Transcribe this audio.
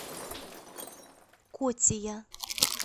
котия